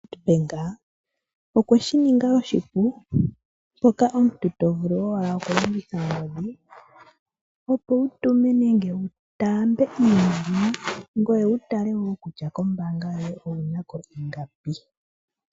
Nedbank, okweshi ninga oshipu, mpoka omuntu tovulu owala okulongitha ongodhi opo wu tume nenge wu taambe iimaliwa, ngoye wu tale wo kutya kombaanga yoye owunako ingapi.